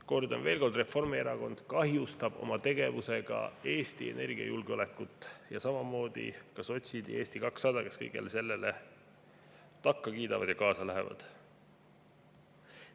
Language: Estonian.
Kordan veel kord: Reformierakond kahjustab oma tegevusega Eesti energiajulgeolekut, samamoodi ka sotsid ja Eesti 200, kes kõigele sellele takka kiidavad ja sellega kaasa lähevad.